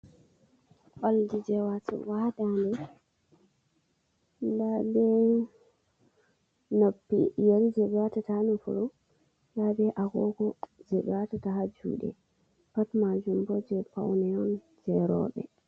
Olɗi je watugo ha danɗe ɗa be nuppi yeri je be watata ha nofuru nda be agogo je ɓe watta ha jude pat majum bo je paune on je roɓe.